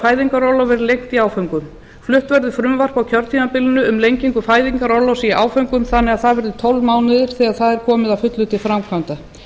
lengt í áföngum flutt verður frumvarp á kjörtímabilinu um lengingu fæðingarorlofs í áföngum þannig að það verði tólf mánuðir þegar það er komið að fullu til framkvæmda